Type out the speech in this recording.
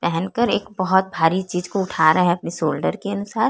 पहनकर एक बहुत भारी चीज को उठा रहा है अपनी शोल्डर के अनुसार --